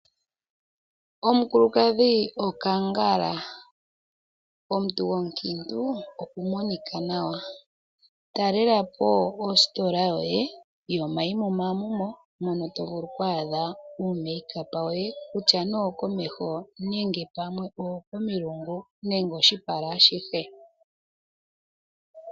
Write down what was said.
Omukulukadhi okangala, omuntu gwomukiintu okumonika nawa. Talela po ositola yoye yomaimumaamumo mono tovulu oku adha uuyimbambekitho woye, wutya nee owokomeho wutya pamwe owokomilungu nenge oshipala ashihe.